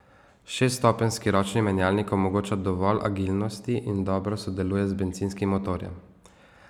Šeststopenjski ročni menjalnik omogoča dovolj agilnosti in dobro sodeluje z bencinskim motorjem.